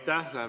Aitäh!